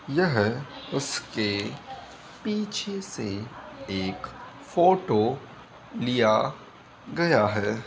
यह उसके पीछे से एक फ़ोटो लिया गया है।